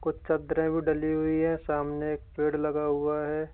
चद्दरे भी डली हुई है सामने एक पेड़ लगा हुआ है।